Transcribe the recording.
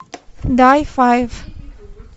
дай файв